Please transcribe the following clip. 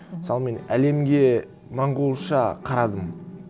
мысалы мен әлемге монғолша қарадым